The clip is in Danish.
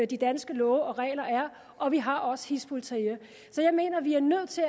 de danske love og regler er og vi har også hizb ut tahrir så jeg mener at vi er nødt til